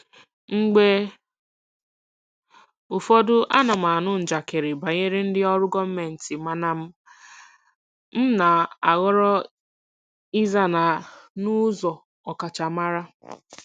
Mgbe ụfọdụ, ana m anụ njakịrị banyere ndị ọrụ gọọmentị mana m na-ahọrọ ịza ya n'ụzọ ọkachamara.